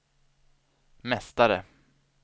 mästare